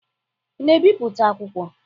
Ị na-ebipụta akwụkwọ?